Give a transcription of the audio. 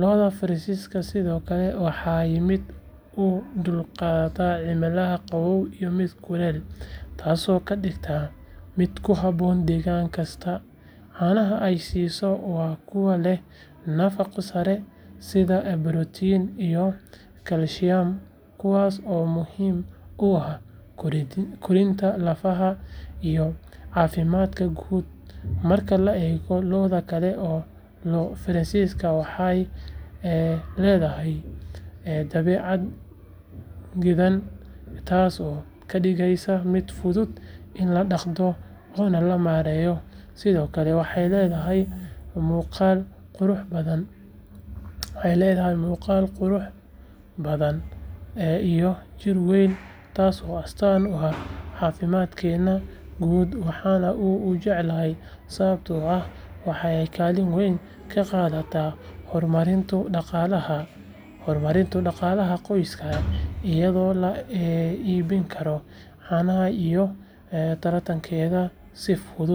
lo’da Friesian sidoo kale waa mid u dulqaata cimilada qabow iyo mid kulul taasoo ka dhigaysa mid ku habboon deegaan kasta caanaha ay siiso waa kuwo leh nafaqo sare sida borotiin iyo kalsiyam kuwaas oo muhiim u ah koritaanka lafaha iyo caafimaadka guud marka loo eego lo’da kale lo’da Friesian waxay leedahay dabeecad deggan taasoo ka dhigaysa mid fudud in la dhaqdo oo la maareeyo sidoo kale waxay leedahay muuqaal qurux badan iyo jir weyn taasoo astaan u ah caafimaadkeeda guud waxaan aad u jecelahay sababta oo ah waxay kaalin weyn ka qaadataa horumarinta dhaqaalaha qoyska iyadoo la iibin karo caanaha iyo tarankeedana si fudud.